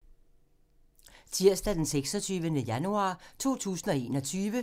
Tirsdag d. 26. januar 2021